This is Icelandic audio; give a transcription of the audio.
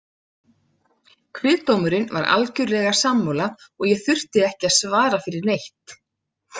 Kviðdómurinn var algjörlega sammála og ég þurfti ekki að svara fyrir neitt.